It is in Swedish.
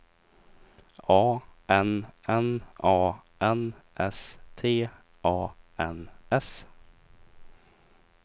A N N A N S T A N S